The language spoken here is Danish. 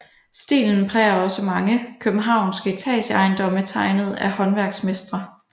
Stilen præger også mange københavnske etageejendomme tegnet af håndværksmestre